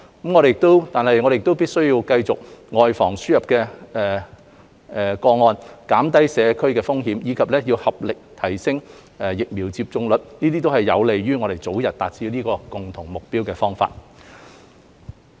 我們必須繼續外防個案輸入，減低社區風險，以及要合力提升疫苗接種率，這些都是有利於我們早日達致這個共同目標的方法。